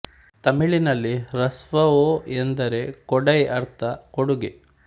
ತಮಿಳಿನಲ್ಲಿ ಹ್ರಸ್ವ ಒ ಎಂದರೆ ಕೊ ಡೈ ಅರ್ಥ ಕೊಡುಗೆ